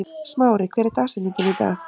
Smári, hver er dagsetningin í dag?